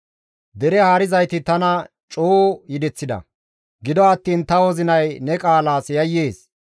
Dere haarizayti tana coo yedeththida; gido attiin ta wozinay ne qaalas yayyees.